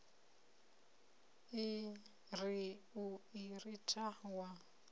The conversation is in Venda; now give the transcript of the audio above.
ri u i ritha wa